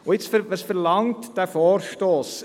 Und jetzt, was verlangt der Vorstoss?